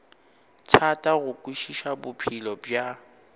thata go kwešiša bophelo bja